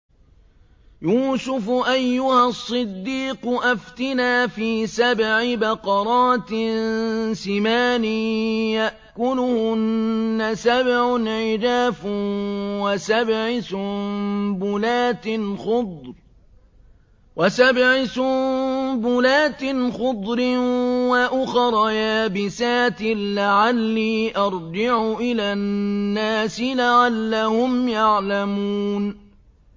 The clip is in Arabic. يُوسُفُ أَيُّهَا الصِّدِّيقُ أَفْتِنَا فِي سَبْعِ بَقَرَاتٍ سِمَانٍ يَأْكُلُهُنَّ سَبْعٌ عِجَافٌ وَسَبْعِ سُنبُلَاتٍ خُضْرٍ وَأُخَرَ يَابِسَاتٍ لَّعَلِّي أَرْجِعُ إِلَى النَّاسِ لَعَلَّهُمْ يَعْلَمُونَ